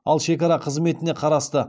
ал шекара қызметіне қарасты